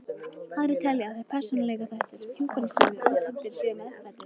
Aðrir telja að þeir persónuleikaþættir, sem hjúkrunarstarfið útheimtir, séu meðfæddir.